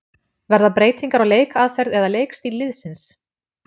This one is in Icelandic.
Verða breytingar á leikaðferð eða leikstíl liðsins?